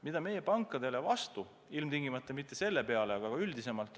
Mida meie pankadele selle kõige peale oleme öelnud?